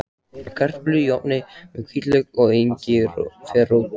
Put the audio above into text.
Kartöflur í ofni með hvítlauk og engiferrót